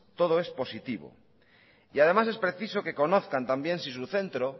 todo es positivo y además es preciso que conozcan también si su centro